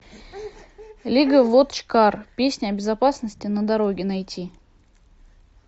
лига вотчкар песня о безопасности на дороге найти